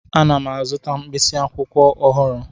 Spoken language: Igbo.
Ana m azụta mkpịsị akwụkwọ ọhụrụ.